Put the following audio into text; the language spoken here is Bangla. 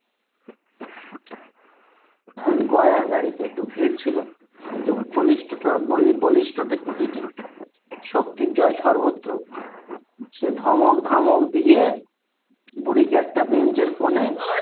আহ গয়ার গাড়িতে একটু ভিড় ছিল কিন্তু বলিষ্ঠ কুলিটি শক্তির জয় সর্বত্র সে ধমক ধামক দিয়ে বুড়ি কে একটা bench র কোণে,